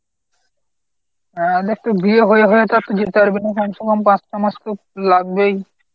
হ্যাঁ বিয়ে হয়ে হয়ে তো আর তুই যেতে পারবি না কমছে কম পাঁচটা মাস তো লাগবেই।